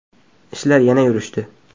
Ishlar yana yurishdi.